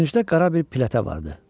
Küncdə qara bir plitə vardı.